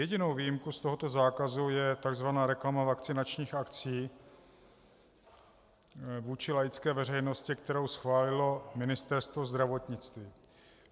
Jedinou výjimku z tohoto zákazu je tzv. reklama vakcinačních akcí vůči laické veřejnosti, kterou schválilo Ministerstvo zdravotnictví.